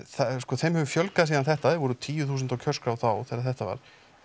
þeim hefur fjölgað síðan þetta var voru tíu þúsund á kjörskrá þá þegar þetta var